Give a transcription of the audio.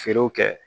Feerew kɛ